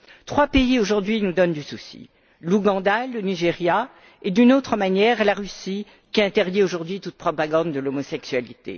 Trois pays aujourd'hui nous causent du souci l'Ouganda, le Nigeria et, d'une autre manière, la Russie, qui interdit aujourd'hui toute propagande de l'homosexualité.